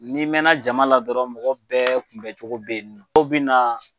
Ni mɛn na jama la dɔrɔn mɔgɔ bɛɛ kun bɛn cogo bɛ ye nɔ. Dow bɛ na.